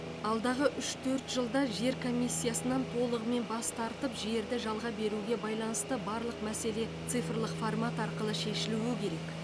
алдағы үш төрт жылда жер комиссиясынан толығымен бас тартып жерді жалға беруге байланысты барлық мәселе цифрлық формат арқылы шешілуі керек